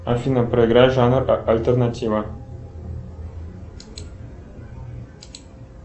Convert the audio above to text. афина проиграй жанр альтернатива